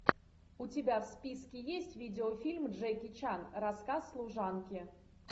у тебя в списке есть видеофильм джеки чан рассказ служанки